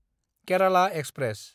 Kerala express